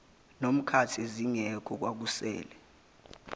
nomkakhe zingekho kwakusele